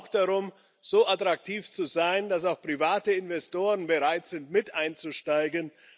Es geht auch darum, so attraktiv zu sein, dass auch private Investoren bereit sind, mit einzusteigen.